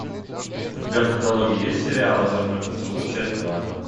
у тебя в каталоге есть сериал озорной поцелуй часть два